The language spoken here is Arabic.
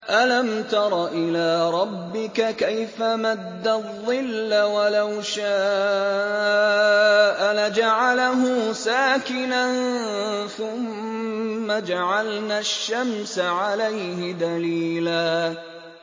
أَلَمْ تَرَ إِلَىٰ رَبِّكَ كَيْفَ مَدَّ الظِّلَّ وَلَوْ شَاءَ لَجَعَلَهُ سَاكِنًا ثُمَّ جَعَلْنَا الشَّمْسَ عَلَيْهِ دَلِيلًا